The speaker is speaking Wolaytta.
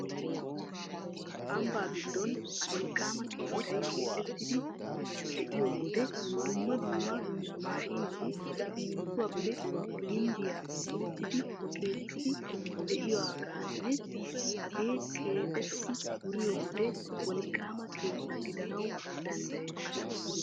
Ambba giddon wolqqaama keettay keexettiiddi de'iyo wode dumma dumma maashineti simminttuwappe gimbbiya medhdhidi keexettiiddi de'iyogaanne hagee keexetti wuriyo wode wolqqaama keetta gidanawu danddayees.